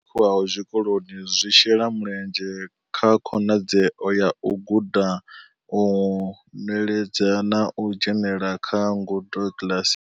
Phakhiwaho tshikoloni zwi shela mulenzhe kha khonadzeo ya u guda, u nweledza na u dzhenela kha ngudo kiḽasi.